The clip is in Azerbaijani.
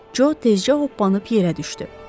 Co tezcə hoppanıb yerə düşdü.